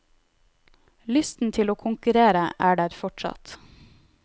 Lysten til å konkurrere er der fortsatt.